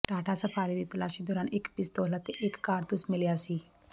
Tata Safari ਦੀ ਤਲਾਸ਼ੀ ਦੌਰਾਨ ਇੱਕ ਪਿਸਤੌਲ ਅਤੇ ਇੱਕ ਕਾਰਤੂਸ ਮਿਲਿਆ ਸੀ